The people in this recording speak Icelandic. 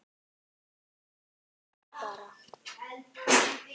En svona er lífið bara.